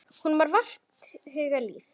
Honum var vart hugað líf.